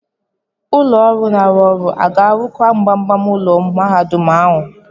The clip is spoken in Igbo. Ụlọ ọrụ na-arụ ọrụ aga-arụkwa gbamgbam ulọ mahadum ahụ?